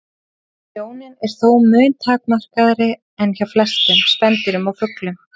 Sjónin er þó mun takmarkaðri en hjá flestum spendýrum og fuglum.